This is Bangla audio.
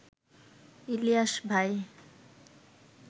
ইলিয়াস ভাই